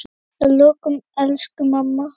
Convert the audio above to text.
Að lokum, elsku mamma.